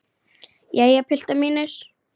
Jæja, piltar mínir!